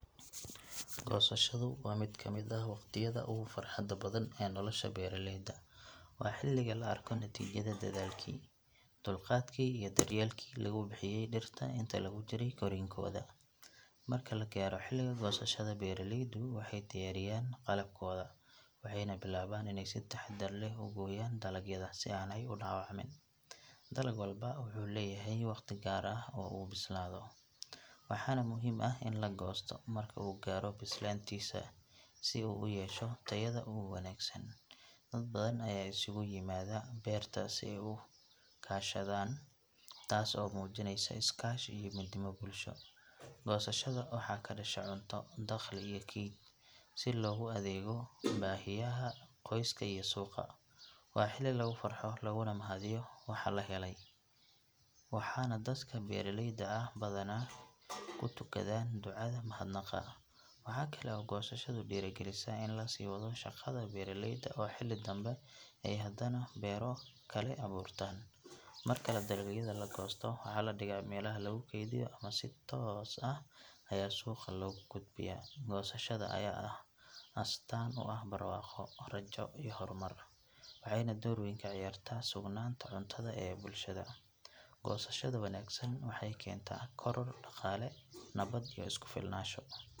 Gosashadu waa mid kamid ah waqtiyada oogu farxada badan nolosha beeraleyda, waa xiliga la arko natiijada dadaalki, dulqaadki lagu bixiye dirta inta lagu jire korinkooda, marka lagaaro xiliga goosashada beeraleyda waxeey diyaariyaan qalabkooda, waxeeyna bilaaban inaay si taxadar leh ugooyan dalagyada si aay udawacmin, dalag walbo wuxuu leyahay waqti gaar ah uu bislaado, waxaana muhiim ah in lagoosto marka uu gaaro bislaantiisa, si uu uyesho tayada ugu wanagsan, dad badan ayaa is kugu yimada beerta si aay ukashadaan, taas oo mujineyso iskaashi iyo midnimo bulsho, goosashada waxaa kadasho cunto daqli iyo keed, si loogu adeego bahiyaha qoyska iyo suuqa, waa xili lagu farxo laguna mahadiyo waxa lahele, waxaana dadka beeraleyda ah badanaa kutugadaan ducada mahad naqa, waxaa kale oo gosashadu diiri galisa in lasii wado shaqada beeraleyda oo xili dambe hadana beerahooda kale abuurtan, marka la goosto waxaa ladigaa meelaha lagu keediyo ama si toos ah ayaa suuqa loo geeya, goosashada ayaa ah astaan rajo iyo hor mar waxeeyna door weyn kaciyaarta mudnaanta cuntada ee bulshada , gosashadu wanagsan waxeey keenta korar daqaale iyo isku filnaasho.